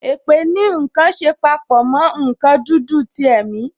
Èpè ní nkan ṣe papọ mo nkan dúdú ti ẹ̀mi